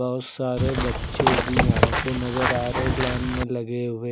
बहुत सारे बच्चे भी यहां पे नजर आ रहे लाइन में लगे हुए।